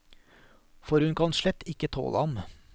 For hun kan slett ikke tåle ham.